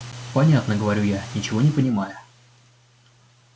понятно говорю я ничего не понимая